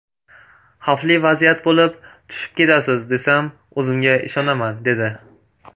Xavfli vaziyat bo‘lib, tushib ketasiz, desam, o‘zimga ishonaman, dedi.